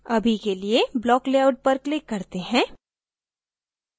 अभी के लिए block layout पर click करते हैं